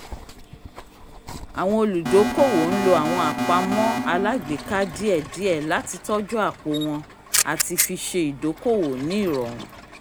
àwọn olùdókòwò n lo àwọn àpamọ́ alágbèéká díẹ̀díẹ̀ láti tọ́jú àpò wọn àti fi ṣe ìdókòwò ní ìrọrùn